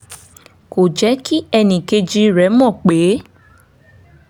kò jẹ́ kí ẹnì kejì rẹ̀ mọ̀ pé